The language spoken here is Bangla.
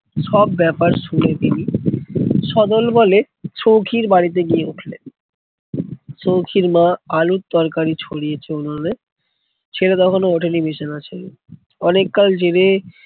সব ব্যাপার শুনে তিনি স দলবলে সৌখীর বাড়ি গিয়ে উঠলেন। সৌখীর মা আলুর তরকারি ছড়িয়েছে উনোনে। ছেলে তখনও ওঠেনি বিছানা ছেড়ে, অনেককাল জেলে